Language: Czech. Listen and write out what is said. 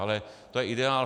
Ale to je ideál.